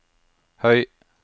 høy